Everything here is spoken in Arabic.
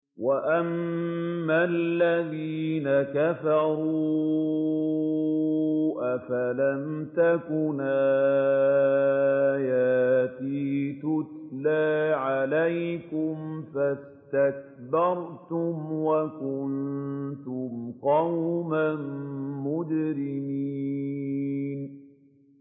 وَأَمَّا الَّذِينَ كَفَرُوا أَفَلَمْ تَكُنْ آيَاتِي تُتْلَىٰ عَلَيْكُمْ فَاسْتَكْبَرْتُمْ وَكُنتُمْ قَوْمًا مُّجْرِمِينَ